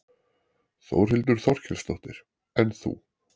Þórhildur Þorkelsdóttir: En þú?